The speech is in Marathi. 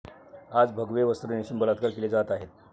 आज भगवे वस्त्र नेसून बलात्कार केले जात आहेत.